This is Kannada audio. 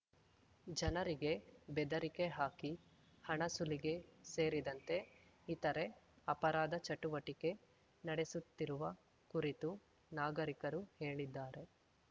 ಜನರಿಕೆ ಬೆದರಿಕೆ ಹಾಕಿ ಹಣ ಸುಲಿಗೆ ಸೇರಿದಂತೆ ಇತರೆ ಅಪರಾಧ ಚಟುವಟಿಕೆ ನಡೆಸುತ್ತಿರುವ ಕುರಿತು ನಾಗರಿಕರು ಹೇಳಿದ್ದಾರೆ